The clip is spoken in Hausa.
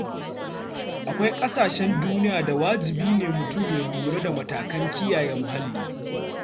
Akwai ƙasashen duniya da wajibi ne mutum ya lura da matakan kiyaye muhalli.